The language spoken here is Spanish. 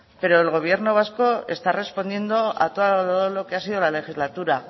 pero el gobierno vasco está respondiendo a todo lo que ha sido la legislatura